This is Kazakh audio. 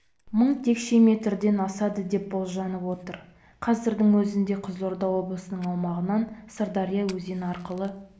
мың текше метрден асады деп болжанып отыр қазірдің өзінде қызылорда облысының аумағынан сырдария өзені арқылы